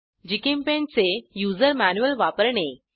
GChemPaint चे user manual वापरणे